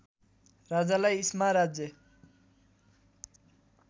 राजालाई इस्मा राज्य